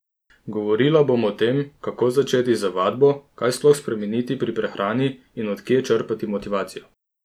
Govorila bom o tem, kako začeti z vadbo, kaj sploh spremeniti pri prehrani in od kje črpati motivacijo?